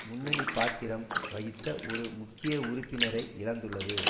முன்னணி பாத்திரம் வகித்த ஒரு முக்கிய உறுப்பினரை இழந்துள்ளது